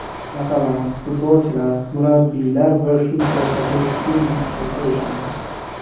Masalan, futbolchilar, murabbiylar va shu sohada kim ishlasa o‘shalar.